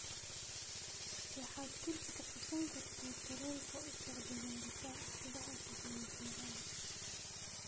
waxaad kursi ku qabsan kartaa tareenka u socda garissa subaxa xiga ee jimcaha